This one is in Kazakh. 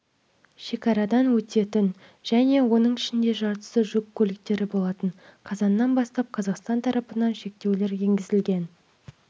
шекарадан өтетін және оның ішінде жартысы жүк көліктері болатын қазаннан бастап қазақстан тарапынан шектеулер енгізілгеннен